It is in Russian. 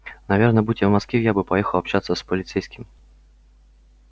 наверное будь я в москве я бы поехал общаться с полицейским